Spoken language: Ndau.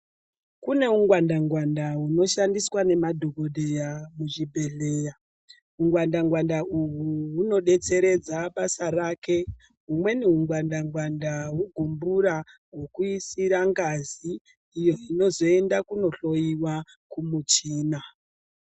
Kune ungwanda ngwanda unoshandiswa nemadhokoteya muzvibhedhlera ungwanda- ngwanda uhu hunodetseredza basa rake humweni hungwanda -ngwanda hugumbura hwekuisira ngazi iyo inozoenda kundohloiwa kumuchina.